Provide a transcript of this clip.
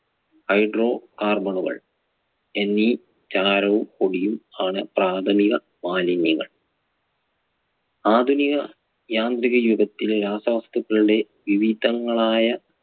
hydro carbon കൾ എന്നീ ചാരവും പൊടിയും ആണ് പ്രാഥമിക മാലിന്യങ്ങൾ. ആധുനിക യാന്ത്രിക യുഗത്തിലെ രാസവസ്തുക്കളുടെ വിവിധങ്ങളായ